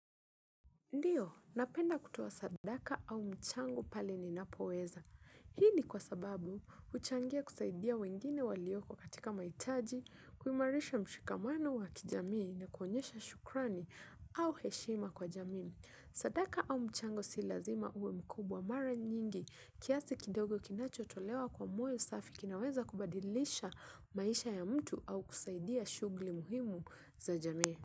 Ndio, napenda kutoa sadaka au mchango pale ninapoweza. Hii ni kwa sababu, huchangia kusaidia wengine walioko katika maitaji, kuimarisha mshikamano wa kijamii na kuonyesha shukrani au heshima kwa jamii. Sadaka au mchango si lazima uwe mkubwa mara nyingi. Kiasi kidogo kinachotolewa kwa moyo safi kinaweza kubadilisha maisha ya mtu au kusaidia shughli muhimu za jamii.